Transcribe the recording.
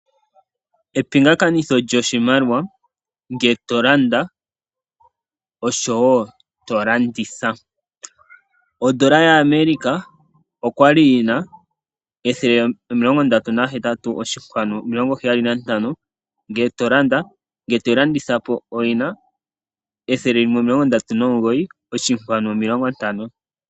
Epingakanitho lyoshimaliwa ngele to landa oshowo to landitha. Odola yaAmerica oya li yi na 138.75 ngele to landa, ngele toyi landitha po oyi na 139.50.